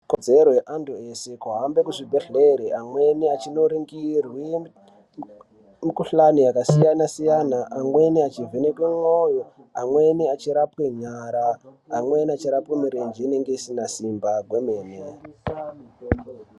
Ikodzero yeantu eshe yekuhambe kuzvibhedhleya amweni achindoningirwe mikuhlani yakasiyana siyana, amweni achivhenekwa ndxondo, amweni achirapwe nyara amweni achirapwe mirenje inenge isina simba kwemene.